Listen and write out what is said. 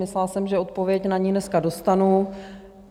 Myslela jsem, že odpověď na ni dneska dostanu...